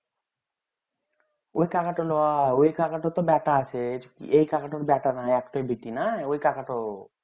অই কাকা নই অই কাকা তার তো বেটা আছে এই কাকা তার তো বেটা নাই একটাই বেটি না ওই কাকা তো